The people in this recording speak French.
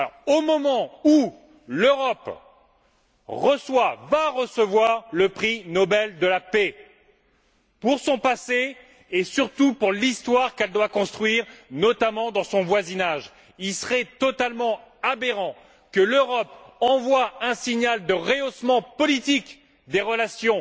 Au moment où l'Europe va recevoir le prix Nobel de la paix, pour son passé et surtout pour l'histoire qu'elle doit construire, notamment dans son voisinage, il serait totalement aberrant que l'Europe envoie un signal de rehaussement politique des relations